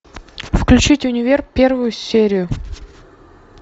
включить универ первую серию